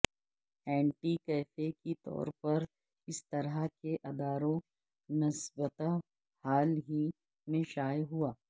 anti cafe کے طور پر اس طرح کے اداروں نسبتا حال ہی میں شائع ہوا